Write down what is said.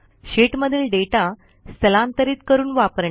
शीटमधील डेटा स्थलांतरीत करून वापरणे